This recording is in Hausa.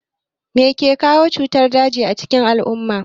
Mai ke kawo cutar daji a cikin al'umma?